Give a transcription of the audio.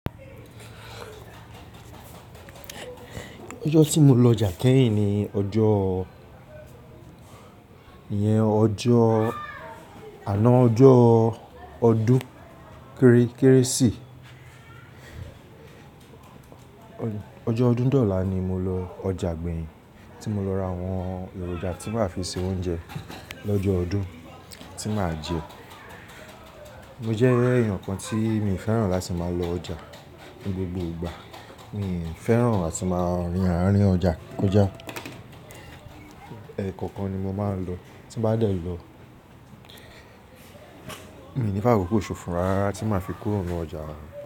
Ọjọ́ tí mo lọ ọjà kẹ́yìn ni ọjọ́, ìyẹn ọjọ́ àná ọjọ́o ọdún Kéré keresìmesì. Ọjọ́ ọdún dola ní mo lọ ọjà ìgbèyìn tí mo lọ ra àwọn èròjà tí màá fi ṣe oúnjẹ lọ́jọ́ ọdún tí màá jẹ. Mo jẹ́ èèyàn kan tí mi ò fẹ́ràn láti máa lọ ọjà ní gbogbo ìgbà. Mi ò fẹ́ràn áti máa gba arín ọjà kọjá. Ẹ̀ẹ̀kọ̀kan ni mo máa ń lọ, tí n bá dẹ̀ lọ, mi ò ní fákókò ṣòfò rara tí màá fi kúrò ní ọjà.